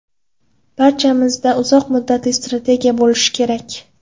Barchamizda uzoq muddatli strategiya bo‘lishi kerak”.